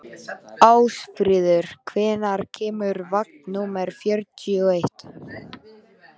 Ásfríður, hvenær kemur vagn númer fjörutíu og eitt?